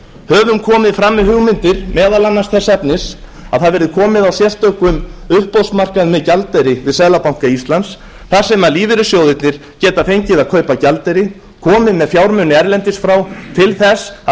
höfum komið fram með hugmyndir meðal annars þess efnis að það verði komið á sérstökum uppboðsmarkaði með gjaldeyri við seðlabanka íslands þar sem lífeyrissjóðirnir geta fengið að kaupa gjaldeyri komið með fjármuni erlendis frá til þess að